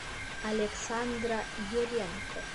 александра юренко